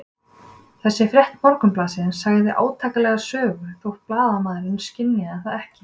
Þessi frétt Morgunblaðsins sagði átakanlega sögu, þótt blaðamaðurinn skynjaði það ekki.